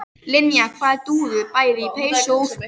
Linja var dúðuð bæði í peysu og úlpu.